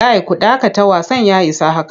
Kai ku dakata wasan ya isa haka!